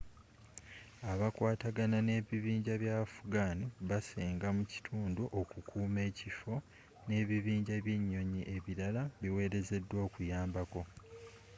abakwatagana n'ebibinja bya afghan baseenga mu kitundu okukuuma ekifo n'ebibinja by'enyonyi ebirala biwerezeddwa okuyambako